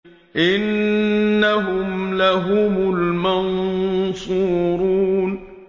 إِنَّهُمْ لَهُمُ الْمَنصُورُونَ